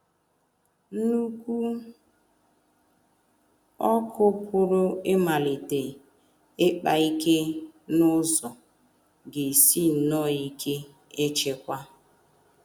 Nnukwu ọkụ pụrụ ịmalite ịkpa ike n’ụzọ ga - esi nnọọ ike ịchịkwa.